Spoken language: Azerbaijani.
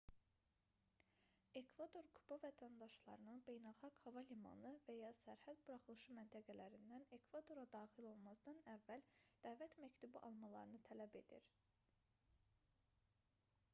ekvador kuba vətəndaşlarının beynəlxalq hava limanı və ya sərhəd buraxılışı məntəqələrindən ekvadora daxil olmazdan əvvəl dəvət məktubu almalarını tələb edir